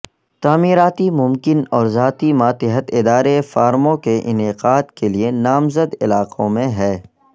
تعمیراتی ممکن اور ذاتی ماتحت ادارے فارموں کے انعقاد کے لیے نامزد علاقوں میں ہے